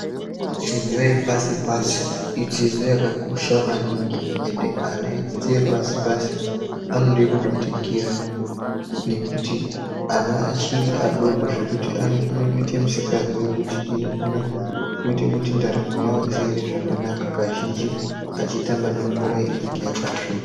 Dzidzo yepashi pashi idzidzo yakakosha maningi ande ana redzidzo yepashi pashi anode kubatikira nekuti ana achiri adoko zvekuti anokona kuite misikanzwa yekuti inokone kuite kuti ndaramo yavo isaema zvakanaka kazhinji echitamba nemvura inenge yakasvipa.